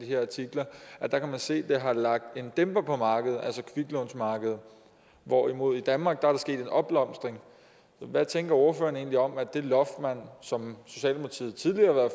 her artikler at man kan se at det har lagt en dæmper på markedet altså kviklånsmarkedet hvorimod der i danmark er sket en opblomstring hvad tænker ordføreren egentlig om at det loft som socialdemokratiet tidligere